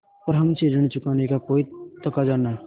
पर हमसे ऋण चुकाने का कोई तकाजा न